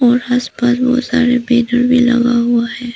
और आसपास बहोत सारे मिरर भी लगा हुआ है।